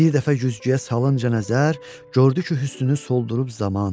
Bir dəfə güzgüyə salınca nəzər, gördü ki, hüsnünü soldurub zaman.